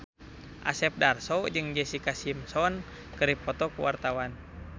Asep Darso jeung Jessica Simpson keur dipoto ku wartawan